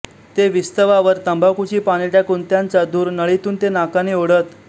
ते विस्तवावर तंबाखूची पाने टाकून त्यांचा धूर नळीतून ते नाकाने ओढत